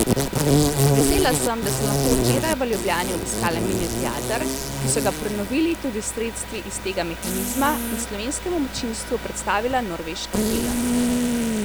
Vesela sem, da sem lahko včeraj v Ljubljani obiskala Mini teater, ki so ga prenovili tudi s sredstvi iz tega mehanizma, in slovenskemu občinstvu predstavila norveški film.